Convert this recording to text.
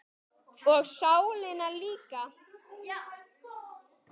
Og sálina líka.